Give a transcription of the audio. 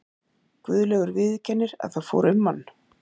Guðlaugur viðurkennir að það fór um hann.